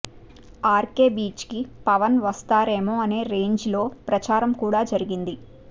RK beach కి పవన్ వచ్చేస్తారేమో అనే రేంజిలో ప్రచారం కూడా జరిగింది